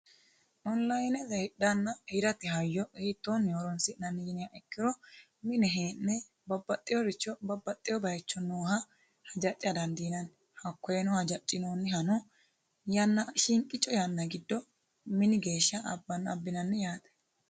Onlinete hidhanna hirate hayyo hiittonni horonsi'nanni yiniha ikkiro mine hee'ne babbaxeworicho babbaxewo bayicho nooha hajaca dandiinanni hakkoyeno hajacinonniha shiqicho yanna giddo mini geeshsha abbinanni yaate.